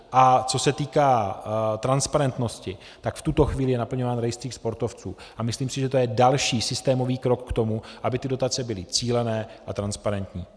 A co se týká transparentnosti, tak v tuto chvíli je naplňován rejstřík sportovců a myslím si, že to je další systémový krok k tomu, aby ty dotace byly cílené a transparentní.